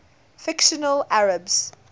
fictional arabs